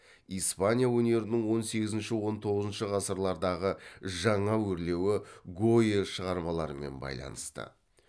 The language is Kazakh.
испаня өнерінің он сегізінші он тоғызыншы ғасырлардағы жаңа өрлеуі гойя шығармаларымен байланысты